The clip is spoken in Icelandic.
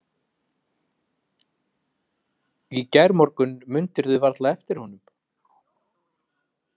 Í gærmorgun mundirðu varla eftir honum.